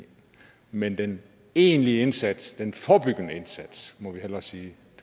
men den egentlige indsats den forebyggende indsats må vi hellere sige